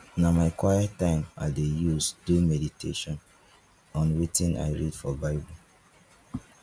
na my quiet time i dey use do medition on wetin i read for bible